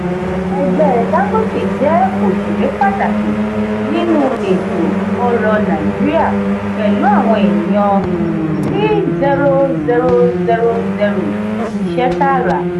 ẹgbẹ dangote jẹ oṣere pataki ninu eto-ọrọ naijiria pẹlu awọn eniyan thirty thousand iṣẹ taara.